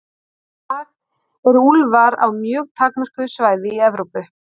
Í dag eru úlfar á mjög takmörkuðu svæði í Evrópu.